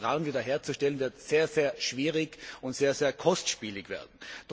Dieses Vertrauen wiederherzustellen, wird sehr schwierig und sehr kostspielig werden.